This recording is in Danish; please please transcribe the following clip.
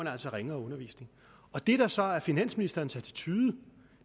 altså ringere undervisning det der så er finansministerens attitude